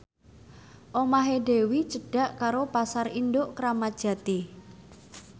omahe Dewi cedhak karo Pasar Induk Kramat Jati